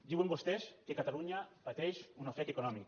diuen vostès que catalunya pateix un ofec econòmic